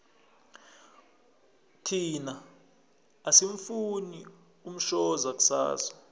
thina asimufuni umshoza kusasa